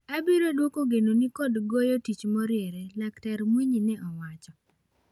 Abiro duoko genoni kod goyotich moriere." Laktar Mwinyi ne owacho.